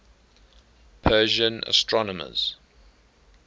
persian astronomers